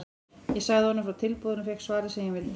Ég sagði honum frá tilboðinu og fékk svarið sem ég vildi.